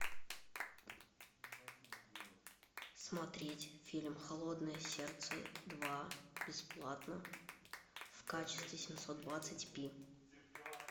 смотреть фильм холодное сердце два бесплатно в качестве семьсот двадцать пи